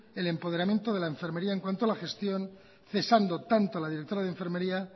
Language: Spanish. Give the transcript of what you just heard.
el empoderamiento de la enfermería en cuanto a la gestión cesando tanto a la directora de enfermería